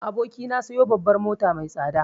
Abokina sayo babbar mota mai tsada